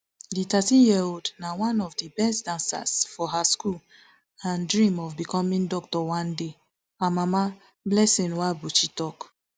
di thirteenyearold na one of di best dancers for her school and dream of becoming doctor one day her mama blessing nwabuchi tok